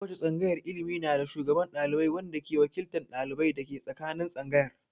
Ko wace tsangayar ilimi na da shugaban ɗalibai wanda ke wakiltan dalibai dake tsakanin tsangayar.